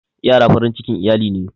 Ƴara farin cikin iyali ne.